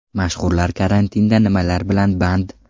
Mashhurlar karantinda nimalar bilan band?